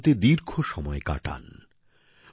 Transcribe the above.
উনি ভারতে দীর্ঘ সময় কাটান